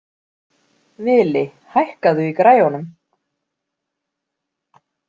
Vili, hækkaðu í græjunum.